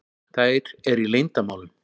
Þær eru í leyndarmálum.